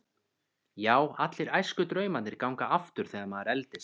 Já, allir æskudraumarnir ganga aftur þegar maður eldist.